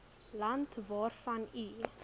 land waarvan u